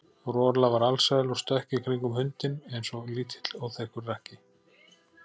Rola var alsæl og stökk í kringum hundinn eins og lítill óþekkur krakki.